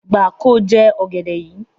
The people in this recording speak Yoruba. Gbà kóo jẹ ọ̀gẹ̀dẹ̀ yíi.